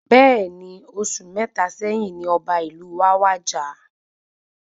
Bẹẹni, oṣù mẹta sẹ́yín ní ọba ìlú wa wàjà